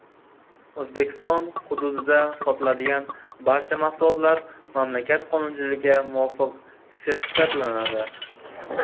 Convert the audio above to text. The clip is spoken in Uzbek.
O‘zbekiston hududida sotiladigan barcha mahsulotlar mamlakat qonunchiligiga muvofiq sertifikatlanadi.